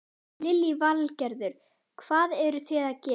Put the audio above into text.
Lillý Valgerður: Hvað eruð þið að gera?